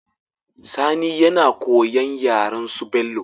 Sani yana koyan yaren su bello